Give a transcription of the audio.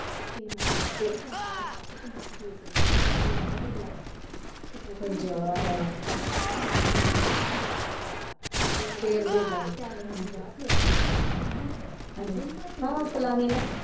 ਤੇ ਮੁੰਡੇ ਨੂੰ ਪੰਜਾਹ ਪੰਜਾਹ ਦੇ ਆਨੇ ਆ ਤੇ ਪੰਜਾਹ ਫੇਰ ਦੇਦਿਆਂਗੇ ਚਲ ਮੈਨੂੰ ਕਿਹਾ ਸੀ ਦੇਦਿਆਂਗੇ ਹੈਨਾ ਉਹ ਫਲਾਣੀ ਨਾ।